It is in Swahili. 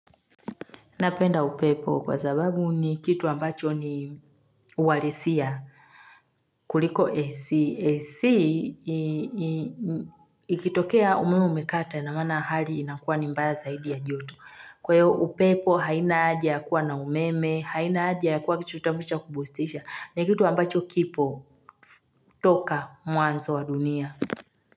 Napenda upepo kwa sababu ni kitu ambacho ni uhalisia kuliko esi. Esi ikitokea umeo umekata na mana hali inakuwa ni mbaya zaidi ya joto. Kwa hio upepo haina haja ya kuwa na umeme, haina haja ya kuwa kichutamucha kubustisha. Ni kitu ambacho kipo toka mwanzo wa dunia.